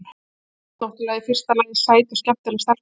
Sko. þú ert náttúrlega í fyrsta lagi sæt og skemmtileg stelpa.